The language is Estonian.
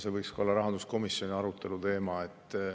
See võiks ka olla rahanduskomisjoni arutelu teema.